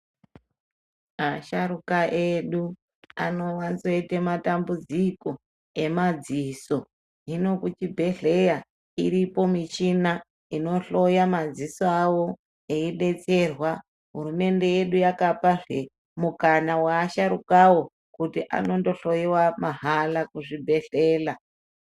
Asharuka edu anowanzoite matambudziko emadziso hino kuchibhedhleya iripo michina inohloye madziso awowo hurumende yedu yakapazve mukana weasharukawo kuti anondohloyiwe mahala kuzvibhedhleya.